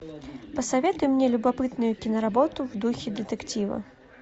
посоветуй мне любопытную киноработу в духе детектива